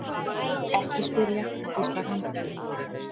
Ekki spyrja, hvíslar hann.